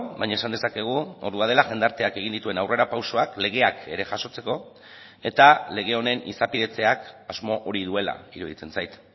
baina esan dezakegu ordua dela jendarteak egin dituen aurrera pausoak legeak ere jasotzeko eta lege honen izapidetzeak asmo hori duela iruditzen zait